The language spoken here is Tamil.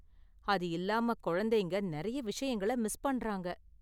அது இல்லாம, குழந்தைங்க நிறைய விஷயங்கள மிஸ் பண்றாங்க.